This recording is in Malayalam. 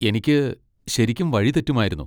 എനിക്ക് ശരിക്കും വഴി തെറ്റുമായിരുന്നു.